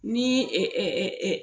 Ni